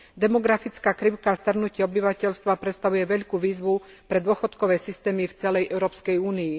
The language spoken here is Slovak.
Demografická krivka starnutia obyvateľstva predstavuje veľkú výzvu pre dôchodkové systémy v celej Európskej únii.